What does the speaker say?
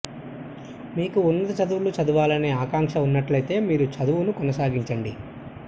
మీకు ఉన్నత చదువులు చదవాలనే ఆకాంక్ష ఉన్నట్లయితే మీరు చదువును కొనసాగించండి